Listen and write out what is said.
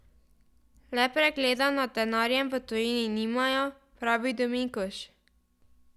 Le pregleda nad denarjem v tujini nimajo, pravi Dominkuš.